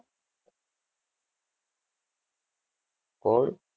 કોણ?